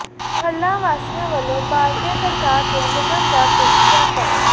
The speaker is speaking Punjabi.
ਮੁਹੱਲਾ ਵਾਸੀਆਂ ਵੱਲੋਂ ਬਾਲਟੀਆਂ ਖੜਕਾ ਕੇ ਨਿਗਮ ਦਾ ਪਿੱਟ ਸਿਆਪਾ